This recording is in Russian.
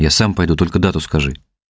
я сам пойду только дату скажи